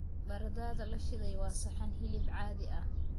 Baradhada la shiiday waa saxan hilib caadi ah.